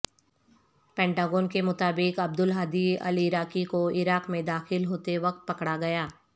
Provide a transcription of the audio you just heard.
Pentagon کے مطابق Abdul Hadi al Iraqi کو عراق میں داخل ہوتے وقت پکڑا گیا